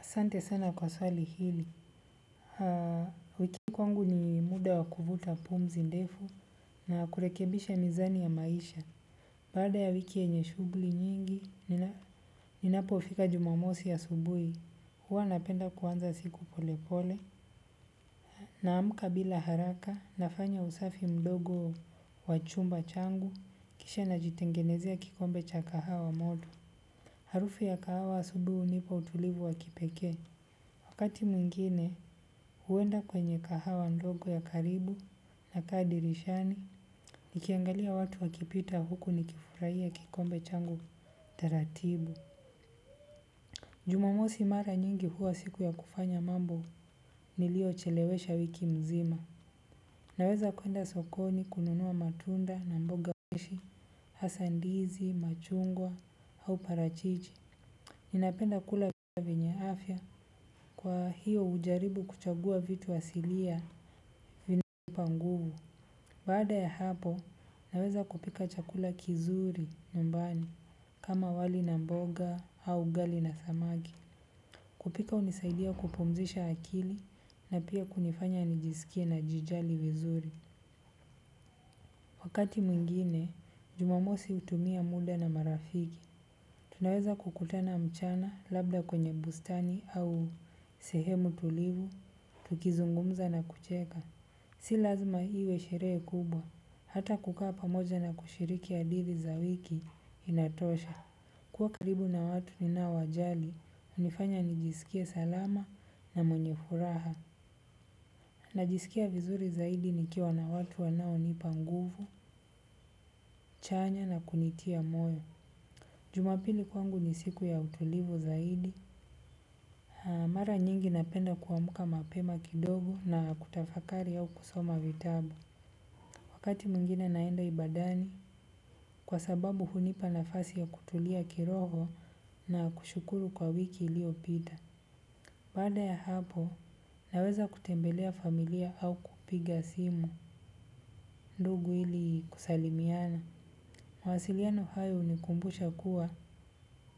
Sante sana kwa swali hili. Wiki kwa ngu ni muda wakuvuta pumzi ndefu na kurekebisha mizani ya maisha. Baada ya wiki yenye shugli nyingi, ninapo fika jumamosi ya asubui. Huwa napenda kuanza siku pole pole. Na amka bila haraka, nafanya usafi mdogo wachumba changu. Kisha na jitengenezea kikombe cha kahawa modu. Harufu ya kahawa asubuhi unipa utulivu wakipekee. Wakati mwingine huwenda kwenye kahawa ndogo ya karibu na kaa dirishani. Nikiangalia watu wakipita huku nikifurai ya kikombe changu taratibu. Jumamosi mara nyingi huwa siku ya kufanya mambo nilio chelewesha wiki mzima. Naweza kwenda sokoni kununua matunda na mboga hasa ndizi, machungwa au parachichi. Ninapenda kula vinyeafya kwa hiyo ujaribu kuchagua vitu asilia vina nipa nguvu. Baada ya hapo, naweza kupika chakula kizuri nyumbani kama wali na mboga ama ugali na samaki. Kupika unisaidia kupumzisha akili na pia kunifanya nijisikie na jijali vizuri. Wakati mwingine, jumamosi utumia muda na marafiki. Tunaweza kukutana mchana labda kwenye bustani au sehemu tulivu tukizungumza na kucheka si lazima hiwe sheree kubwa, hata kukaa pamoja na kushiriki hadithi za wiki inatosha. Kuwa karibu na watu ni nao wajali, unifanya nijisikie salama na mwenye furaha. Najisikia vizuri zaidi ni kiwa na watu wanao nipanguvu, chanya na kunitia moyo. Jumapili kwangu nisiku ya utulivu zaidi, mara nyingi napenda kuwamuka mapema kidogu na kutafakari au kusoma vitabu. Wakati mwengine naenda ibadani, kwa sababu hunipa nafasi ya kutulia kiroho na kushukuru kwa wiki ili opita. Baada ya hapo, naweza kutembelea familia au kupiga simu, ndugu ili kusalimiana. Mawasiliano hayo huni kumbusha kuwa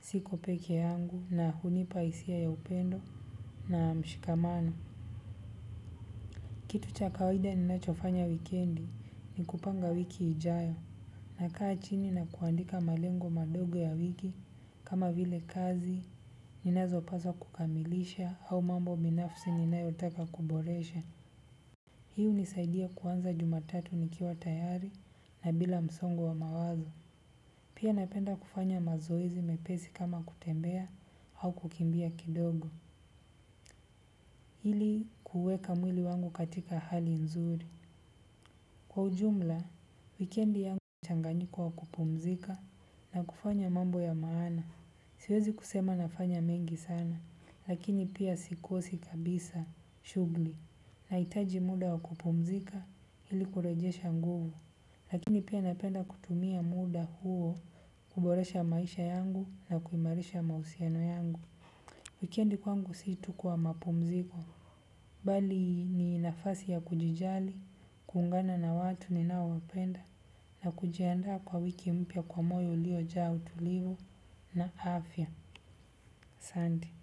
siko peke yangu na hunipa isia ya upendo na mshikamano. Kitu cha kawaida ninachofanya wikendi ni kupanga wiki ijayo na kaa chini na kuandika malengo madogo ya wiki kama vile kazi, ninazo paswa kukamilisha au mambo binafsi ninayotaka kuboresha. Hii hunisaidia kuanza jumatatu nikiwa tayari na bila msongo wa mawazo. Pia napenda kufanya mazoezi mepesi kama kutembea au kukimbia kidogo. Ili kuweka mwili wangu katika hali nzuri. Kwa ujumla, wikendi yangu mchanganyiko wa kupumzika na kufanya mambo ya maana. Siwezi kusema nafanya mengi sana, lakini pia sikosi kabisa, shugli. Na itaji muda wa kupumzika ili kurejesha nguvu, lakini pia napenda kutumia muda huo kuboresha maisha yangu na kuimarisha mahusiano yangu. Wikendi kwangu situ kwa mapumziko. Bali ni nafasi ya kujijali, kuungana na watu ni nao wapenda, na kujianda kwa wiki mpya kwa moyo ulio jaa utulivu na afya. Santi.